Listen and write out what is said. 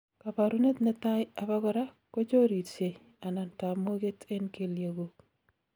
kaborunet netai abakora kochorirsie anan tamoget en keliekguk